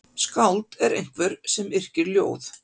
Skáld er einhver sem yrkir ljóð.